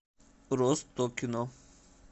ростокино